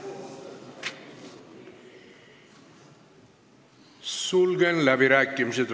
Sulgen läbirääkimised.